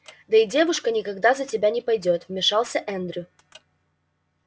да и девушка никогда за тебя не пойдёт вмешался эндрю